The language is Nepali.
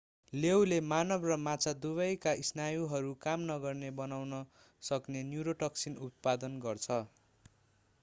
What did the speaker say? लेऊले मानव र माछा दुवैका स्नायुहरू काम नगर्ने बनाउन सक्ने न्युरोटोक्सिन उत्पादन गर्छ